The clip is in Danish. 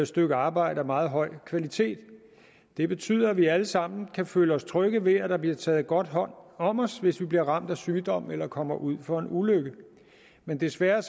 stykke arbejde af meget høj kvalitet det betyder at vi alle sammen kan føle os trygge ved at der bliver taget godt hånd om os hvis vi bliver ramt af sygdom eller kommer ud for en ulykke men desværre